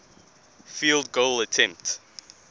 field goal attempt